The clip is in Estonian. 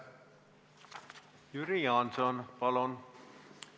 Jüri Jaanson, palun!